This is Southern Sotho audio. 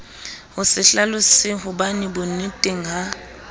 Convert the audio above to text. ho se hlalosahobane bonneteng ha